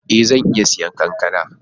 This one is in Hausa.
Ee! Zan iya siyan kankana.